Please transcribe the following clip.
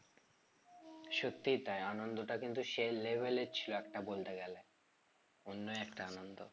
সত্যি তাই আনন্দটা কিন্তু সেই level এর ছিল একটা বলতে গেলে অন্য একটা আনন্দ